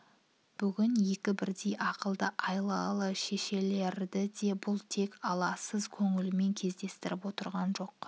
бүгін екі бірдей ақылды айлалы шешелерді де бұл тек аласыз көңілмен кездестіріп отырған жоқ